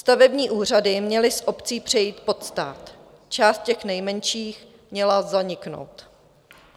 Stavební úřady měly z obcí přejít pod stát, část těch nejmenších měla zaniknout.